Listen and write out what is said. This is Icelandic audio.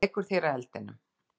Þú leikur þér að eldinum.